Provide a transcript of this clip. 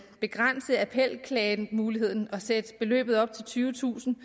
begrænse appelklagemuligheden og sætte beløbet op til tyvetusind